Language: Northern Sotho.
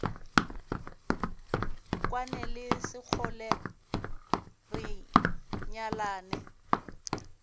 kwane le sekgole re nyalane